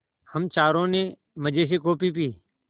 हम चारों ने मज़े से कॉफ़ी पी